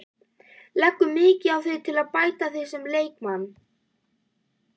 Leggurðu mikið á þig til að bæta þig sem leikmann?